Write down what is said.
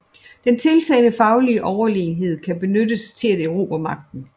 Den tiltagende faglige Overlegenhed kan benyttes til at erobre Magten